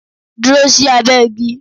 Dúró sí abẹ́ igi!